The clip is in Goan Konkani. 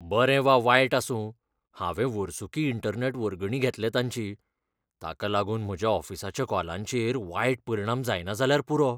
बरें वा वायट आसूं, हांवें वर्सुकी इंटरनॅट वर्गणी घेतल्या तांची. ताका लागून म्हज्या ऑफिसाच्या कॉलांचेर वायट परिणाम जायना जाल्यार पुरो!